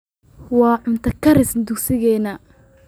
waa cunto karis dugsigeena